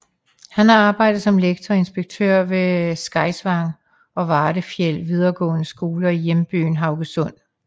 Han har arbejdet som lektor og inspektør ved Skeisvang og Vardafjell videregående skoler i hjembyen Haugesund